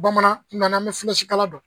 Bamanan n nana me kala dɔn